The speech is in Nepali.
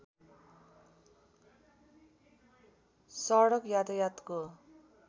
सडक यातायातको